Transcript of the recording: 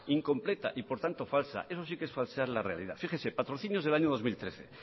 incompleta y por tanto falsa eso sí que es falsear la realidad fíjese patrocinios del año dos mil trece